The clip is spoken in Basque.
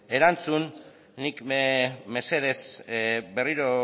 erantzun nik mesedez berriro